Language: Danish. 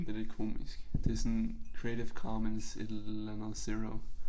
Det lidt komisk det sådan Creative Commons et eller andet zero